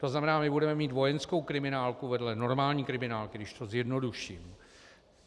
To znamená, my budeme mít vojenskou kriminálku vedle normální kriminálky, když to zjednoduším.